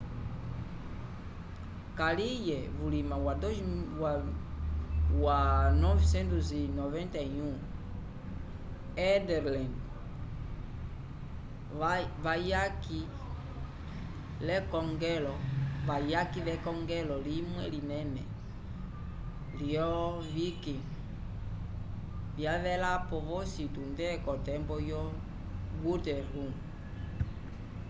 kaliye vulima wa 991 ethelred wayaki l'ekongelo limwe linene lyolo-viking vyavelapo vosi tunde k'otembo yo guthrum